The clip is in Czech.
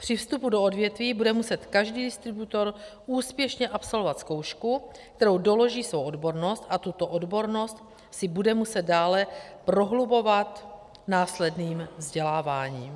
Při vstupu do odvětví bude muset každý distributor úspěšně absolvovat zkoušku, kterou doloží svou odbornost, a tuto odbornost si bude muset dále prohlubovat následným vzděláváním.